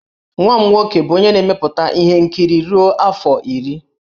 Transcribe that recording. Nwa m nwoke bụ onye na-emepụta ihe nkiri ruo afọ iri.